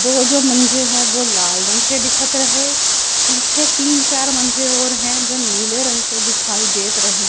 दो जो मंजे हैं वो लाल रंग के दिखत रहे पीछे तीन चार हैं और है जो नीले रंग के दिखाई देत रहे।